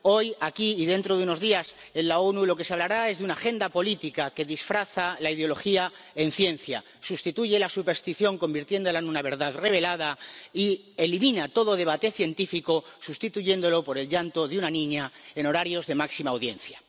Hoy, aquí, y dentro de unos días en las Naciones Unidas, de lo que se hablará es de una agenda política que disfraza la ideología en ciencia, sustituye la superstición, convirtiéndola en una verdad revelada, y elimina todo debate científico, sustituyéndolo por el llanto de una niña en horarios de máxima audiencia.